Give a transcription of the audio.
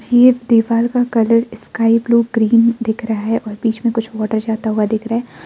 दीवाल का colour sky blue green दिख रहा है और बीच में कुछ वाटर जाता हुआ दिख रहा है।